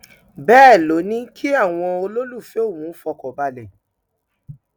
bẹẹ ló ní kí àwọn olólùfẹ òun fọkàn balẹ